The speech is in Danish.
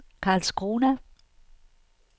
Karlskrona